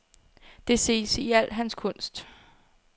Det ses i al hans kunst.